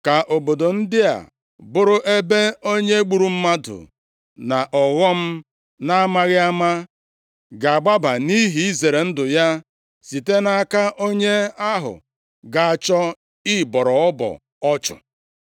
Ka obodo ndị a bụrụ ebe onye gburu mmadụ nʼọghọm na-amaghị ama ga-agbaga nʼihi izere ndụ ya site nʼaka onye ahụ ga-achọ ịbọrọ ọbọ ọchụ.